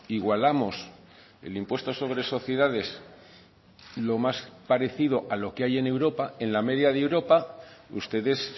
igualamos el impuesto sobre sociedades lo más parecido a lo que hay en europa en la media de europa ustedes